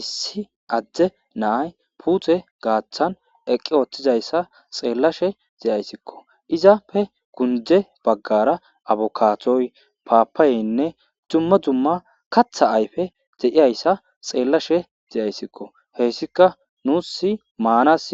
issi adde naay puute gaaththan eqqi ooththizayssa xeellashe ze7ayssikko izappe kunde baggara abokaatoy paapayeynne dumma dumma katha ayfe deiyayssa xeellashe zeyayssikko heyssika nuusi maanas